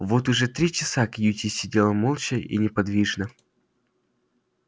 вот уже три часа кьюти сидел молча и неподвижно